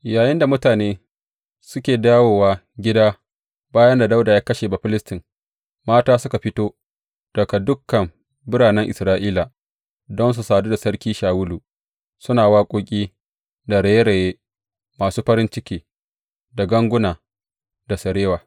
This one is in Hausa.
Yayinda mutane suke dawowa gida bayan da Dawuda ya kashe Bafilistin, mata suka fito daga dukan biranen Isra’ila don su sadu da Sarki Shawulu, suna waƙoƙi da raye raye masu farin ciki, da ganguna da sarewa.